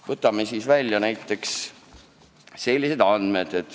Võtame välja näiteks sellised andmed.